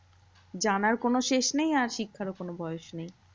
জানার কোনো শেষ নেই আর শিক্ষারও কোনো বয়স নেই।